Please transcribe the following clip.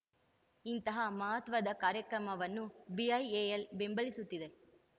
ಇಂತಹ ಮಹತ್ವದ ಕಾರ್ಯಕ್ರಮವನ್ನು ಬಿಐಎಎಲ್‌ ಬೆಂಬಲಿಸುತ್ತಿದೆ